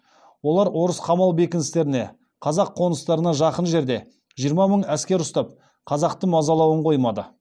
олар орыс қамал бекіністеріне қазақ қоныстарына жақын жерде жиырма мың әскер ұстап қазақты мазалауын қоймады